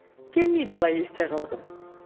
келмейді олай есте қалғым